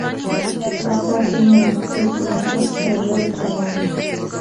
поставь фильм трюфельный пес королевы джованны